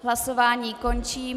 Hlasování končím.